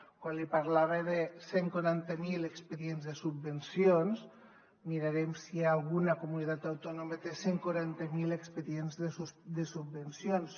quan li parlava de cent i quaranta miler expedients de subvencions mirarem si hi ha alguna comunitat autònoma que té cent i quaranta miler expedients de subvencions